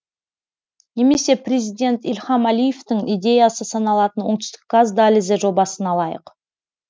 немесе президент ильхам әлиевтің идеясы саналатын оңтүстік газ дәлізі жобасын алайық